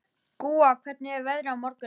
Gúa, hvernig er veðrið á morgun?